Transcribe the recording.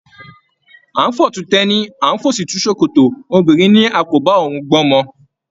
A n f'ọ̀tún t'ẹní, a n f'òsì tu sòkòtò, obìnrin ní a kò bá òun gbọ t'ọmọ.